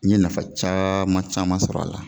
N ye nafa caman caman sɔrɔ a la.